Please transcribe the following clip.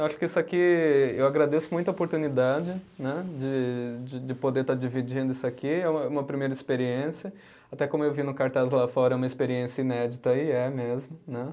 Eu acho que isso aqui, eu agradeço muito a oportunidade né de, de poder estar dividindo isso aqui, é uma primeira experiência, até como eu vi no cartaz lá fora, é uma experiência inédita e é mesmo, né?